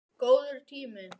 Góður tími.